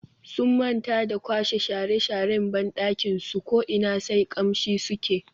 Sun manta da kwashe shara sharan bandakin su ko ina sai kamshi suke.